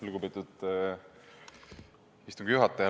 Lugupeetud istungi juhataja!